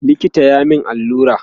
likita ya min allura